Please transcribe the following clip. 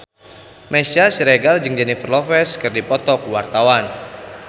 Meisya Siregar jeung Jennifer Lopez keur dipoto ku wartawan